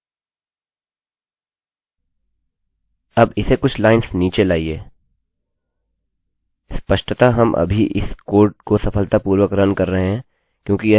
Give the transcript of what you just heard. अब इसे कुछ लाइंस नीचे लाइए स्पष्टतः हम अभी भी इस कोड को सफलतापूर्वक रन कर रहे हैं क्योंकि यह एक जैसी लाइन के आधार पर कार्य करता है